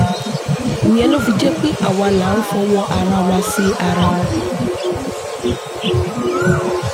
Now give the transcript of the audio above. ìyẹn ló fi jẹ́ pé àwa là ń fọwọ́ ara wa ṣe ara wa